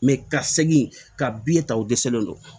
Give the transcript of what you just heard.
ka segin ka ta o dɛsɛlen don